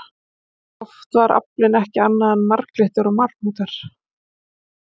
Oft var aflinn ekki annað en marglyttur og marhnútar.